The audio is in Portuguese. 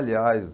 Aliás...